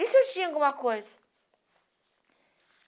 E se ele tinha alguma coisa?